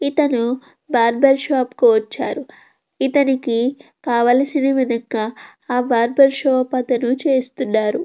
ఇతను barber shop కి వచ్చారు. ఇతనికి కావలసిన విధంగా ఆ బార్బర్ షాప్ అతను చేస్తున్నారు.